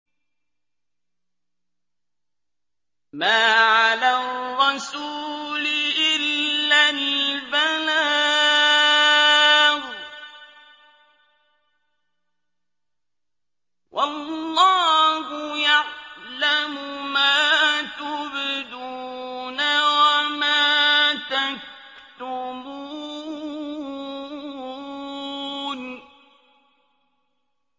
مَّا عَلَى الرَّسُولِ إِلَّا الْبَلَاغُ ۗ وَاللَّهُ يَعْلَمُ مَا تُبْدُونَ وَمَا تَكْتُمُونَ